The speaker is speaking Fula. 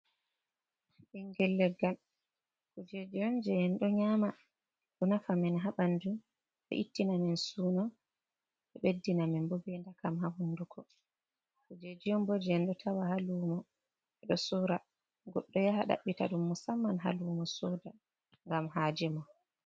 Ɓingel leggal kujeji on je en do ƴama, ɗo nafa men habandu, ɗo ittina men suno, ɗo beddina men bo be ɗakam ha hunduko, kujeji on bo je en ɗo tawa ha lumo be do sora, goddo yaha ɗabbita dum musamman ha lumo soda gam ha jemum.